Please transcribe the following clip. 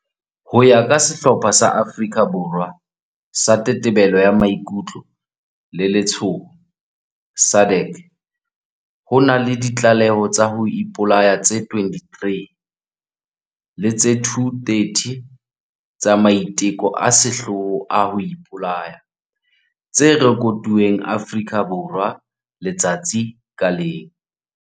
Ho ya ka sehlopha sa Afrika Borwa sa Tetebelo ya Maikutlo le Letshoho, SADAG, ho na le ditlaleho tsa ho ipolaya tse 23 le tse 230 tsa maiteko a sehloho a ho ipolaya tse rekotuweng Afrika Borwa letsatsi ka leng.